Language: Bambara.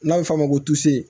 N'a bɛ f'ɔ ma ko